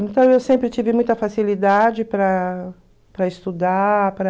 Então eu sempre tive muita facilidade para para estudar, para...